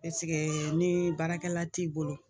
ni baarakɛla t'i bolo